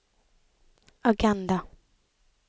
agenda